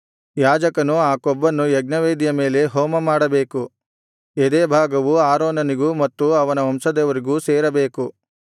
ಯಾಜಕನು ಆ ಕೊಬ್ಬನ್ನು ಯಜ್ಞವೇದಿಯ ಮೇಲೆ ಹೋಮಮಾಡಬೇಕು ಎದೆಯ ಭಾಗವು ಆರೋನನಿಗೂ ಮತ್ತು ಅವನ ವಂಶದವರಿಗೂ ಸೇರಬೇಕು